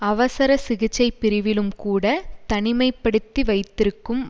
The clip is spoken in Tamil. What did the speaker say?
அவசர சிகிச்சை பிரிவிலும் கூட தனிமை படுத்தி வைத்திருக்கும்